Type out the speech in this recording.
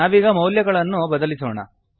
ನಾವೀಗ ಮೌಲ್ಯಗಳನ್ನು ಬದಲಿಸೋಣ